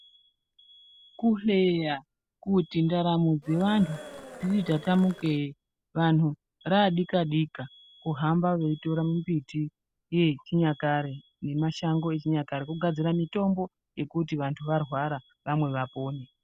Kuhleya kuti ndaramo dzevantu dziri tatamukeyi, vanhu raadika-dika kuhamba veitora mimbiti yechinyakare, nemashango echinyakare ,kugadzira mitombo, yekuti vantu varwara, vamwe vapone.